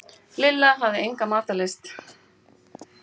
Lilla hafði enga matarlyst.